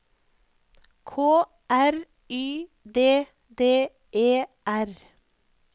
K R Y D D E R